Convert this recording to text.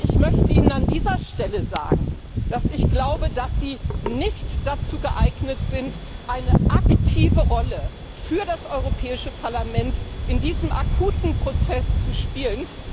Ich möchte Ihnen an dieser Stelle sagen, dass ich glaube, dass Sie nicht dazu geeignet sind, eine aktive Rolle für das Europäische Parlament in diesem akuten Prozess zu spielen.